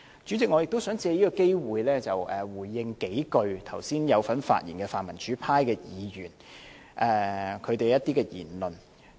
主席，我亦想藉此機會回應剛才有份發言的泛民主派議員的一些言論。